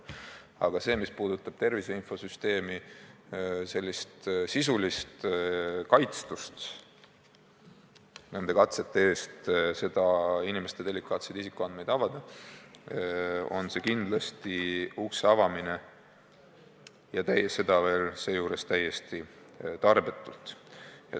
Aga see, mis puudutab tervise infosüsteemi sisulist kaitstust katsete eest inimeste delikaatseid isikuandmeid avada, on päris kindlasti ukse avamine, ja seda täiesti tarbetult.